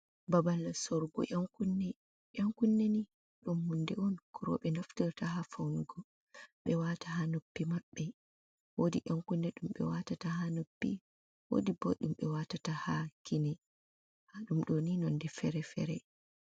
Babal sorugo Yan kunne ni ɗum hunde on ko roɓe naftirta ha faunugo ɓe wata ha noppi maɓɓe, wodi Yan kunne ɗum ɓe watata ha noppi wodi bo ɗumɓe watata ha kine, nda ɗum ɗo ni nonde fere-fere.